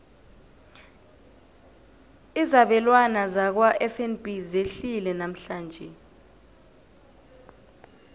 izabelwana zakwafnb zehlile namhlanje